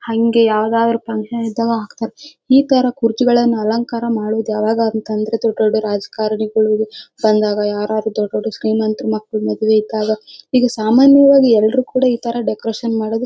ಹಂಗೆ ಯಾವದಾರು function ಇದ್ದಾಗ. ಈ ತರ ಕುರ್ಚಿಗಳು ಏನ್ ಅಲಂಕಾರ ಮಾಡೋದು ಯಾವಾಗ್ ಆಗತ್ತೆ ಅಂದ್ರೆ ದೊಡ್ ದೊಡ್ಡ ರಾಜಕಾರಣಿಗಳು ಬಂದಾಗ ದೊಡ್ ದೊಡ್ಡ ಶ್ರೀಮಂತರ ಮಕ್ಕಳ ಮದ್ವೆ ಇದ್ದಾಗ. ಇದು ಸಾಮಾನ್ಯವಾಗಿ ಎಲ್ರು ಕೂಡ ಈ ತರ ಡೆಕೋರೇಷನ್ ಮಾಡೋದು--